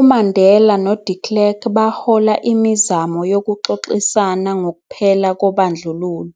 UMandela no de Klerk bahola imizamo yokuxoxisana ngokuphela kobandlululo,